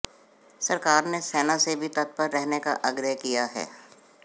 सरकार ने सेना से भी तत्पर रहने का आग्रह किया है